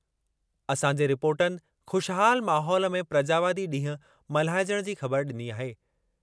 असांजे रिपोर्टनि ख़ुशहाल माहौल में प्रजावादी ॾींहुं मल्हाइजणु जी ख़बर ॾिनी आहे।